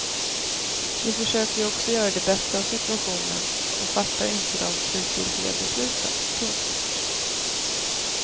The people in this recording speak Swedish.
De försöker ju också göra det bästa av situationen och fattar inte de slutgiltiga besluten. punkt